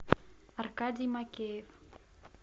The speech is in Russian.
аркадий макеев